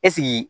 Ɛseke